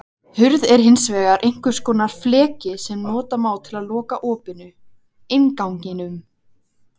Hurð er hins vegar einhvers konar fleki sem nota má til að loka opinu, innganginum.